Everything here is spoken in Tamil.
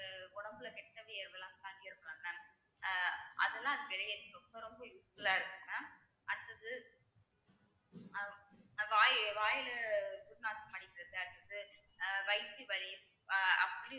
உடம்புல கெட்ட வியர்வை எல்லாம் தங்கியிருக்கும்ல mam அஹ் அதெல்லாம் அது ரொம்ப ரொம்ப useful ஆ இருக்கும் mam அடுத்தது வாயி~ வாயில துர்நாற்றம் அடிக்கிறது வயித்து வலி